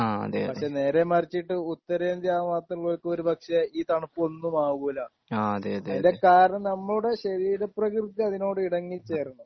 പക്ഷേ നേരെ മറിച്ചിട്ട് ഉത്തരേന്ത്യ ആ ഭാഗത്തുള്ളവർക്ക് ഒരുപക്ഷേ ഈ തണുപ്പ് ഒന്നുമാകൂല്ല അതിൻ്റെ കാരണം നമ്മുടെ ശരീരപ്രകൃതി അതിനോട് ഇണങ്ങി ചേരണം